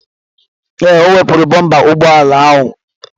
Ee, o wepụrụ bompa ụgbọala ahụ.